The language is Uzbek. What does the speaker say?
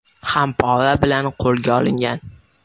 ham pora bilan qo‘lga olingan.